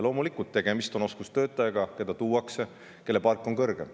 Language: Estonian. Loomulikult tuuakse oskustöötaja, kelle palk on kõrgem.